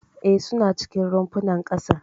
E, suna cikin rumfunan ƙasar.